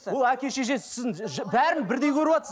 ол әке шешесі сіздің бәрін бірдей көріватсыз